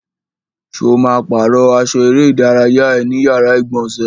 Ṣo ma pàrọ́ aṣọ eré ìdárayá ẹ ní yàrá ìgbọ̀nsẹ̀?